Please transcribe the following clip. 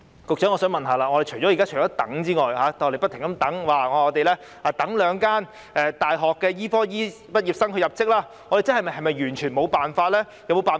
我想問局長，現時除了不停地等待兩間大學的醫科畢業生入職之外，是否便完全沒有其他辦法？